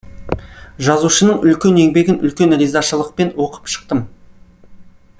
жазушының үлкен еңбегін үлкен ризашылықпен оқып шықтым